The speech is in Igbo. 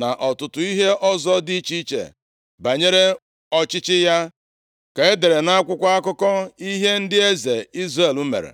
na ọtụtụ ihe ọzọ dị iche iche banyere ọchịchị ya, ka e dere nʼakwụkwọ akụkọ ihe ndị eze Izrel mere.